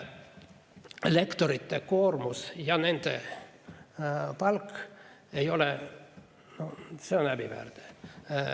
Lektorite koormus ja nende palk on häbiväärne.